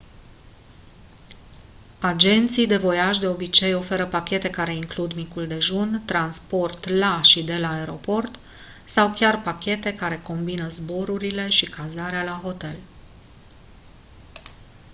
agenții de voiaj de obicei ofertă pachete care includ micul dejun transport la și de la aeroport sau chiar pachete care combină zborurile și cazarea la hotel